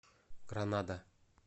гранада